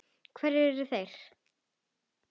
Hverjir eru þeir?